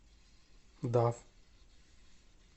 даф